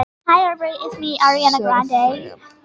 Ef engar ljóseindir eru numdar fer ferlið ekki af stað.